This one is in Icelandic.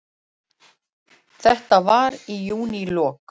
Þetta var í júnílok.